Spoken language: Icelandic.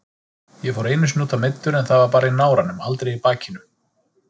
Ég fór einu sinni útaf meiddur en það var bara í náranum, aldrei í bakinu.